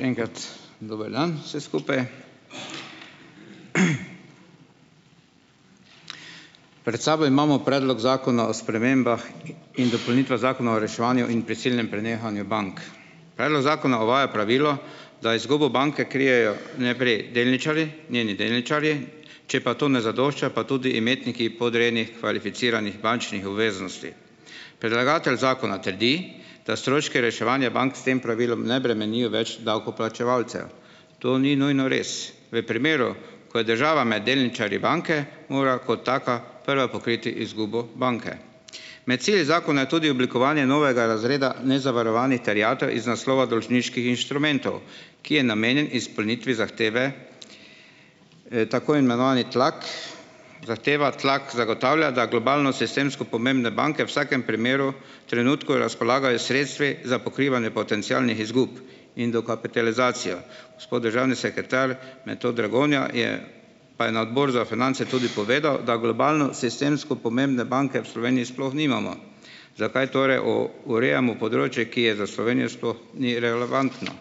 Še enkrat dober dan vsem skupaj. Pred sabo imamo predlog zakona o spremembah in dopolnitvah zakona o reševanju in prisilnem prenehanju bank. Predlog zakona uvaja pravilo, da izgubo banke krijejo najprej delničarji njeni delničarji, če pa to ne zadošča, pa tudi imetniki podrejenih kvalificiranih bančnih obveznosti. Predlagatelj zakona trdi, da stroški reševanja bank s tem pravilom ne bremenijo več davkoplačevalcev. To ni nujno res. V primeru, ko je država med delničarji banke, mora kot taka prva pokriti izgubo banke. Med cilji zakona je tudi oblikovanje novega razreda nezavarovanih terjatev iz naslova dolžniških inštrumentov, ki je namenjen izpolnitvi zahteve, tako imenovani tlak, zahteva tlak, zagotavlja, da globalno sistemsko pomembne banke v vsakem primeru, trenutku razpolagajo s sredstvi za pokrivanje potencialnih izgub in dokapitalizacijo. Gospod državni sekretar Metod Dragonja je pa je na Odboru za finance tudi povedal, da globalno sistemsko pomembne banke v Sloveniji sploh nimamo. Zakaj torej o urejamo področje, ki je za Slovenijo - sploh ni relevantno.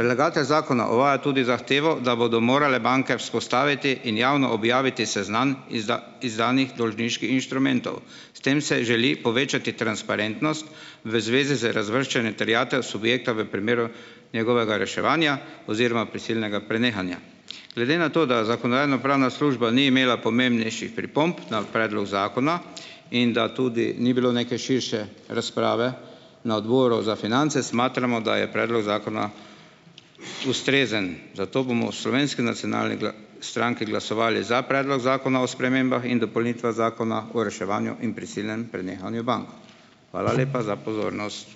Predlagatelj zakona uvaja tudi zahtevo, da bodo morale banke vzpostaviti in javno objaviti seznam izdanih dolžniških inštrumentov. S tem se želi povečati transparentnost v zvezi z razvrščanjem terjatev subjekta v primeru njegovega reševanja oziroma prisilnega prenehanja. Glede na to, da Zakonodajno-pravna služba ni imela pomembnejših pripomb na predlog zakona in da tudi ni bilo neke širše razprave. Na Odboru za finance smatramo, da je predlog zakona ustrezen, zato bomo v Slovenski nacionalni stranki glasovali za predlog zakona o spremembah in dopolnitvah Zakona o reševanju in prisilnem prenehanju bank. Hvala lepa za pozornost.